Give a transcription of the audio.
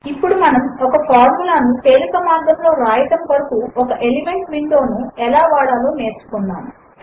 ఇప్పుడు మనము ఒక ఫార్ములా ను తేలిక మార్గములో వ్రాయడము కొరకు ఒక ఎలిమెంట్స్ విండో ను ఎలా వాడాలో నేర్చుకున్నాము